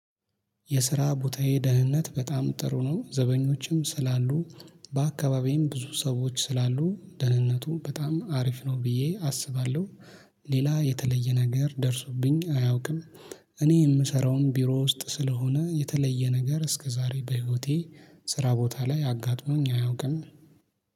የስራ ቦታዬ ደህንነት በጣም ጥሩ ነው ዘበኞችም ስላሉ በአካባቢየም ብዙ ሰዎች ስላሉ ደህንነቱ በጣም አሪፍ ነው ብዬ አስባለሁ። ሌላ የተለየ ነገር ደርሶብኝ አያውቅም። እኔ የምሰራውም ቢሮ ውስጥ ስለሆነ የተለየ ነገር እስከዛሬ በህይወቴ ስራ ቦታ ላይ አጋጥሞኝ አያውቅም